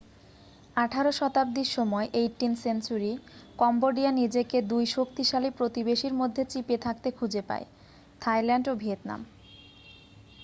আঠারো শতাব্দীর সময়18th century কম্বোডিয়া নিজেকে 2 শক্তিশালী প্রতিবেশীর মধ্যে চিপে থাকতে খুঁজে পায় থাইল্যান্ড ও ভিয়েতনাম।